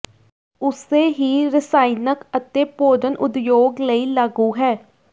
ਉਸੇ ਹੀ ਰਸਾਇਣਕ ਅਤੇ ਭੋਜਨ ਉਦਯੋਗ ਲਈ ਲਾਗੂ ਹੈ